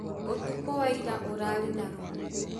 Ũtukũ wa ira ũrarĩ na rũhuho